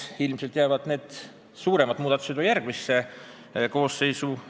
Ilmselt jäävad suuremad muudatused järgmisse Riigikogu koosseisu.